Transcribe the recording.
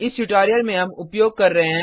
इस ट्यूटोरियल में हम उपयोग कर रहे हैं